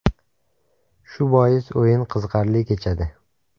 Shu bois o‘yin qiziqarli kechadi.